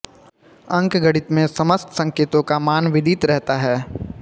अंकगणित में समस्त संकेतों का मान विदित रहता है